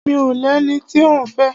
Mi ò lẹni tí òún fẹ́.